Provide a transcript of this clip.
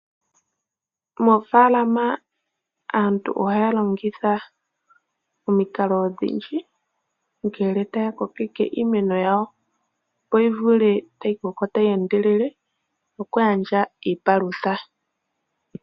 Moofaalama aantu ohaya longitha omikalo odhindji ngele taya kokeke iimeno yawo. Opo yi vule okukoka tayi endelele opo yi gandje iipalutha.